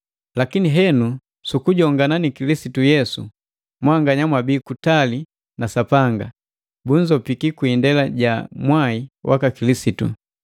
Lakini henu su kujongana ni Kilisitu Yesu, mwanganya bamwabii kutali na Sapanga, bunzopiki kwi indela ja mwai waka Kilisitu.